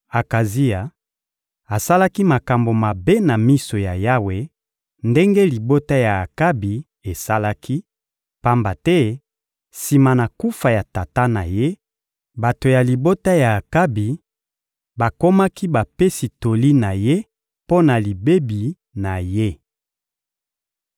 Akazia asalaki makambo mabe na miso ya Yawe ndenge libota ya Akabi esalaki; pamba te, sima na kufa ya tata na ye, bato ya libota ya Akabi bakomaki bapesi toli na ye mpo na libebi na ye.